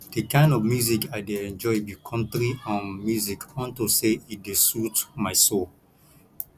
the kin of music i dey enjoy be country um music unto say e dey soothe my soul